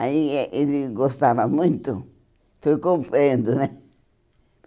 Aí eh ele gostava muito, foi comprando, né?